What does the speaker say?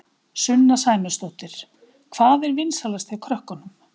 Sunna Sæmundsdóttir: Hvað er vinsælast hjá krökkunum?